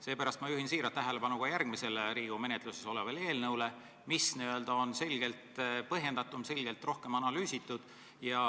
Seepärast ma juhin tähelepanu ka järgmisele Riigikogu menetluses olevale eelnõule, mis on selgelt põhjendatum, selgelt rohkem analüüsitud.